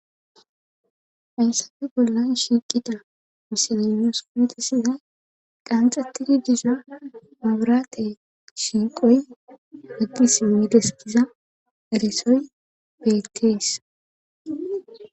Faysafi bolla shiiqida misilimus kulitasiza qanxatidi diisa maburaate shiiqoy heggis mmideskiza eresoy beettees